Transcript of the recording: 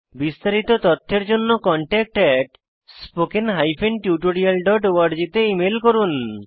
বিস্তারিত তথ্যের জন্য contactspoken tutorialorg তে ইমেল করুন